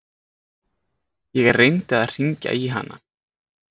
Ég reyndi að hringja í hana.